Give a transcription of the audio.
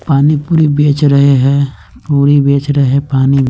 पानी पूड़ी बेच रहे है पूड़ी बेच रहे है पानी--